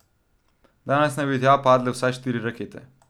Danes naj bi tja padle vsaj štiri rakete.